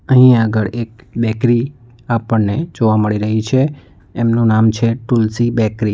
અહીં આગળ એક બેકરી આપણને જોવા મળી રહી છે એમનું નામ છે તુલસી બેકરી.